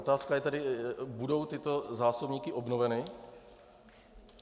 Otázka je tedy: budou tyto zásobníky obnoveny?